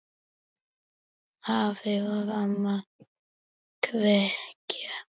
Afi og amma kveðja